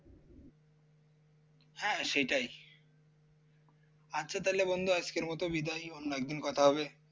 হ্যাঁ হ্যাঁ সেইটাই আচ্ছা তাহলে বন্ধু আজকের মত বিদায় অন্য একদিন কথা হবে